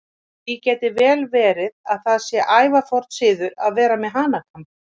Því gæti vel verið að það sé ævaforn siður að vera með hanakamb.